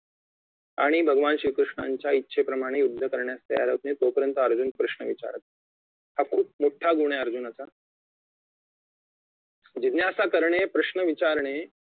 आणि भगवान श्री कृष्णांच्या इच्छेप्रमाणे युद्ध करण्यास तयार होत नाही तो पर्यंत अर्जुन प्रश्न विचारत राहील हा खूप मोठा गुण आहे अर्जुनाचा जिज्ञासा करणे प्रश्न विचारणे